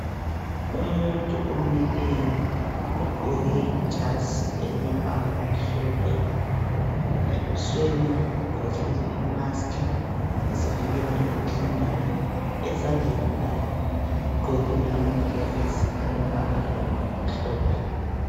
Umuntu omileyo ogqoke ijazi elilombala omhlophe, ebusweni ugqokile imaski ezivikela emikhuhlaneni. Ezandleni lakho ugqokile amagilavisi alombala omhlophe.